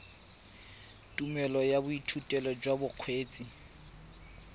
tumelelo ya boithutedi jwa bokgweetsi